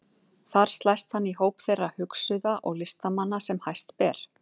Þar slæst hann í hóp þeirra hugsuða og listamanna sem hæst ber.